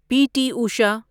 پی T Usha